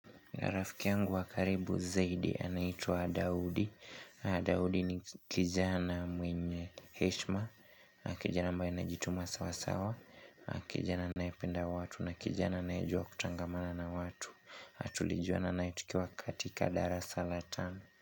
Rafiki yangu wa karibu zaidi anaitwa Daudi. Daudi ni kijana mwenye heshma. Kijana ambaye anajituma sawa sawa kijana anayependa watu na kijana anayejua kutangamana na watu. Tulijuana naye tukiwa katika darasa la tano.